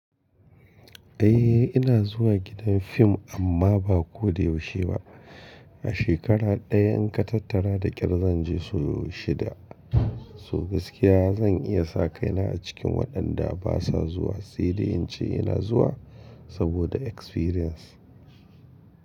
Eh ina zuwa gidan fim amma ba ko da yaushe ba. A shekara ɗaya in ka tattara da kyar zan je sau shida. So gaskiya zan iya sa kaina a cikin waɗanda basa zuwa, sai dai in ce ina zuwa saboda experience.